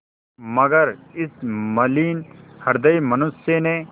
मगर इस मलिन हृदय मनुष्य ने